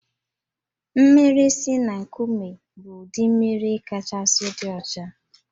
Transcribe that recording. Mmiri si na nkụme bụ ụdị mmiri kachasị dị ọcha